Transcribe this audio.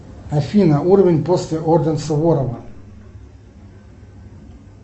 афина уровень после орден суворова